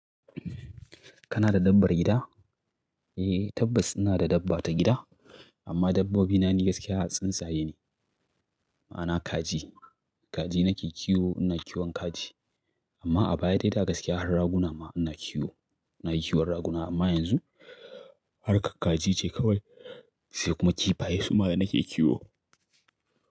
Kana da dabbar gida? Eh tabbas ina da dabba ta gida amma dabbobi na ni gaskiya tsinsaye ne. Ma'ana kaji. Kaji nake kiwo, ina kiwon kaji amma a baya dai da gaskiya har raguna ma ina kiwo. Ina kiwon raguna amma yanzu harkar kaji ce kawai sai kuma kifaye su ma da nake kiwo.